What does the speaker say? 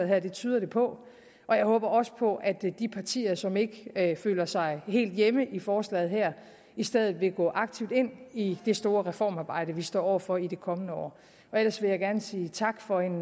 her det tyder det på og jeg håber også på at de partier som ikke føler sig helt hjemme i forslaget her i stedet vil gå aktivt ind i det store reformarbejde vi står over for i det kommende år ellers vil jeg gerne sige tak for en